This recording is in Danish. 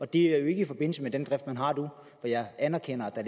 det er jo ikke i forbindelse med den drift man har nu jeg anerkender at